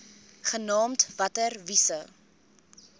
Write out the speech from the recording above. genaamd water wise